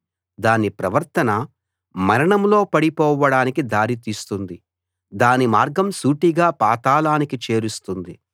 దాని ప్రవర్తన మరణంలో పడిపోవడానికి దారితీస్తుంది దాని మార్గం సూటిగా పాతాళానికి చేరుస్తుంది